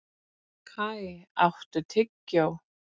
Kai, áttu tyggjó?